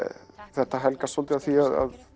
þetta helgast svolítið af því